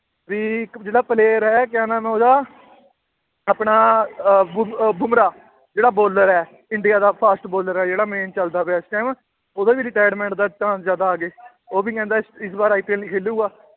ਵੀ ਇੱਕ ਜਿਹੜਾ player ਹੈ ਕਿਆ ਨਾਮ ਹੈ ਉਹਦਾ ਆਪਣਾ ਅਹ ਬੁਮਰਾਹ ਜਿਹੜਾ bowler ਹੈ ਇੰਡੀਆ ਦਾ fast bowler ਹੈ ਜਿਹੜਾ main ਚੱਲਦਾ ਪਿਆ ਇਸ time ਉਹਦਾ ਵੀ retirement ਦਾ chance ਉਹ ਵੀ ਕਹਿੰਦਾ ਇਸ ਵਾਰ IPL ਨੀ ਖੇਲੇਗਾ।